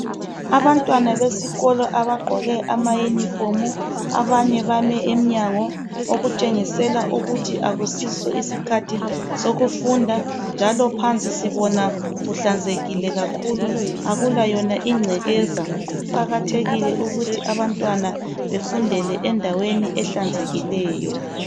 abantwana besikolo abagqoke ama uniform abanye bame emnyango okutshengisela ukuthi akusiso isikhathi sokufunda njalo phansi sibona kuhlanzekile kakhulu akula yona ingcekeza kuqakathekile ukuthi abantwana befundele endaweni ehlanzekileyo